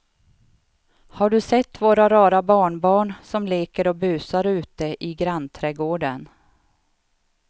Har du sett våra rara barnbarn som leker och busar ute i grannträdgården!